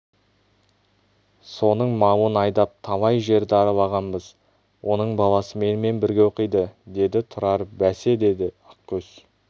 соның малын айдап талай жерді аралағанбыз оның баласы менімен бірге оқиды деді тұрар бәсе деді ақкөз